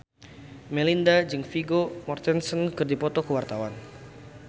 Melinda jeung Vigo Mortensen keur dipoto ku wartawan